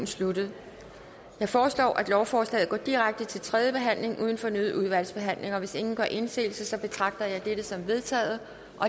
sluttet jeg foreslår at lovforslaget går direkte til tredje behandling uden fornyet udvalgsbehandling hvis ingen gør indsigelse betragter jeg dette som vedtaget